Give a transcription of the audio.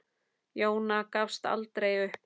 Jóna gafst aldrei upp.